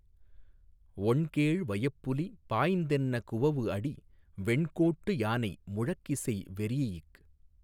ஒண்கேழ் வயப்புலி பாய்ந்தென குவவுஅடி வெண்கோட்டு யானை முழக்கிசை வெரீஇக்